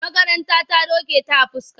A makaranta ta doke ta a fuska.